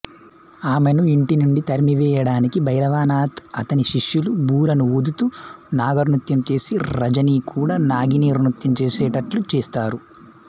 ఆమెను ఇంటినుండి తరిమివేయడానికి భైరవనాథ్ అతని శిష్యులు బూరను ఊదుతూ నాగనృత్యం చేసి రజనికూడా నాగిని నృత్యం చేసేటట్లు చేస్తారు